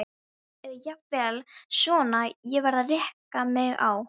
Eða jafnvel svona: Ég varð að reka mig á.